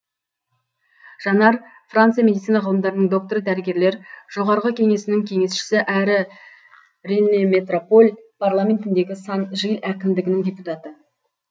жанар франция медицина ғылымдарының докторы дәрігерлер жоғарғы кеңесінің кеңесшісі әрі реннеметрополь парламентіндегі сан жиль әкімдігінің депутаты